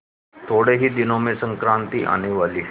थोड़े ही दिनों में संक्रांति आने वाली है